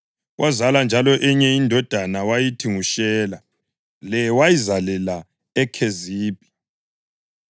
Wazala njalo enye indodana wayithi nguShela. Le wayizalela eKhezibhi.